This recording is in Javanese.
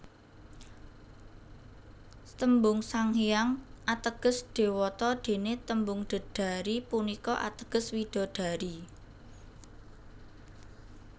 Tembung Sanghyang ateges dewata dene tembung Dedari punika ateges widadari